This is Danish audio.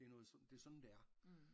Det er noget det er sådan det er